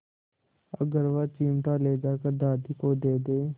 अगर वह चिमटा ले जाकर दादी को दे दे